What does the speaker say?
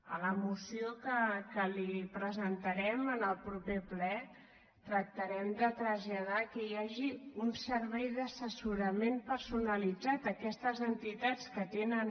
a la moció que li presentarem en el proper ple tractarem de traslladar que hi hagi un servei d’assessorament personalitzat a aquestes entitats que tenen